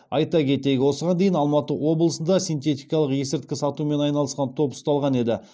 айта кетейік осыған дейін алматы облысында синтетикалық есірткі сатумен айналысқан топ ұсталған еді